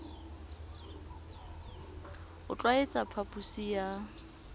o tl waetsa phaphusi ya